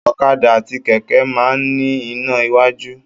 Ọ̀kadà àti kẹ̀kẹ́ máa ń ní iná iwájú.